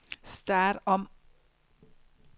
start om